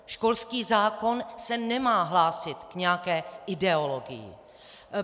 Školský zákon se nemá hlásit k nějaké ideologii.